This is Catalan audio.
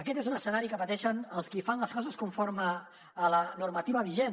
aquest és un escenari que pateixen els qui fan les coses conforme a la normativa vigent